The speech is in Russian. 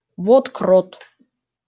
вот крот